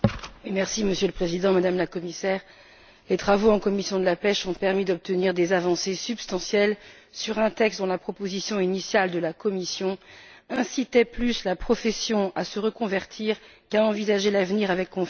Monsieur le Président, Madame la Commissaire, les travaux en commission de la pêche ont permis d'obtenir des avancées substantielles sur un texte dont la proposition initiale de la Commission incitait plus la profession à se reconvertir qu'à envisager l'avenir avec confiance.